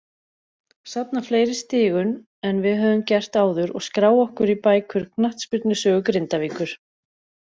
Safna fleiri stigum en við höfum gert áður og skrá okkur í bækur knattspyrnusögu Grindavíkur!